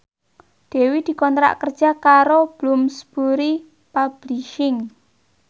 Dewi dikontrak kerja karo Bloomsbury Publishing